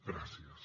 gràcies